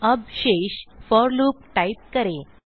अब शेषfor loop type करें